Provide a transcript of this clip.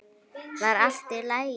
Var allt í lagi?